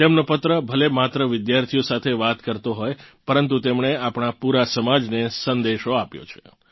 તેમનો પત્ર ભલે માત્ર વિદ્યાર્થીઓ સાથે વાત કરતો હોય પરંતુ તેમણે આપણા પૂરા સમાજને સંદેશો આપ્યો છે